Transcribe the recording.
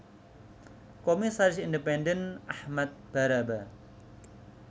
Komisaris Independen Achmad Baraba